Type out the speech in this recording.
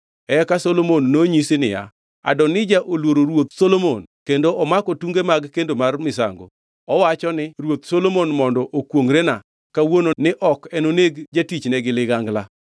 Eka Solomon nonyisi niya, “Adonija oluoro ruoth Solomon kendo omako tunge mag kendo mar misango. Owacho ni, ‘Ruoth Solomon mondo okwongʼrena kawuono ni ok enoneg jatichne gi ligangla.’ ”